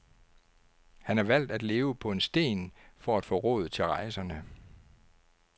Han har valgt at leve på en sten for at få råd til rejserne.